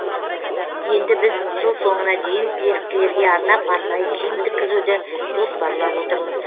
енді біз жыл соңына дейін еріктілерге арнап арнайы киім тіккізуді жоспарлап отырмыз